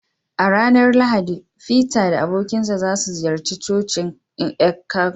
A ranar Lahadi, feter da abokansa za su ziyarci cocin Eckankar.